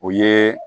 O ye